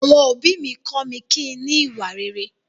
Àwọn òbí mi kọ mí kín ní ìwà rere.